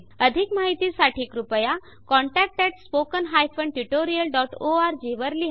अधिक माहितीसाठी कृपया contact at spoken hyphen tutorial dot O R G वर लिहा